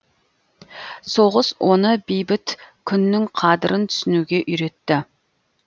соғыс оны бейбіт күннің қадырын түсінуге үйретті